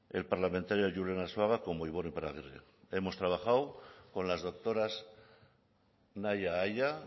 el parlamentario julen arzuaga como ibon iparragirre hemos trabajado con las doctoras nahia aia